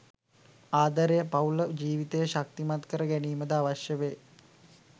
ආදරය පවුල ජීවිතය ශක්තිමත් කර ගැනීමද අවශ්‍ය වේ.